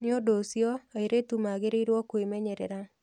Nĩ ũndũ ũcio, airĩtu magĩrĩirũo kwĩmenyerera.